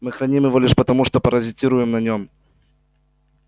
мы храним его лишь потому что паразитируем на нем